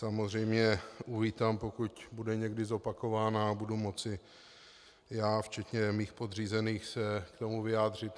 Samozřejmě uvítám, pokud bude někdy zopakována a budu moci já včetně mých podřízených se k tomu vyjádřit.